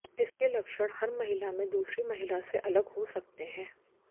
इसके लक्षण हर महिला में दूसरी महिला से अलग हो सकते हैं